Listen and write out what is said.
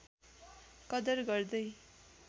कदर गर्दै